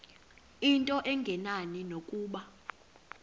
into engenani nokuba